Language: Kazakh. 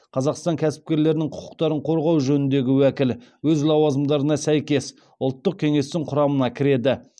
қазақстан кәсіпкерлерінің құқықтарын қорғау жөніндегі уәкіл өз лауазымдарына сәйкес ұлттық кеңестің құрамына кіреді